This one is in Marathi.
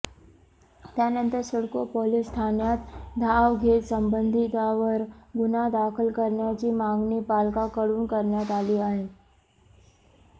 त्यानंतर सिडको पोलीस ठाण्यात धाव घेत संबंधितावर गुन्हा दाखल करण्याची मागणी पालकांकडून करण्यात आली आहे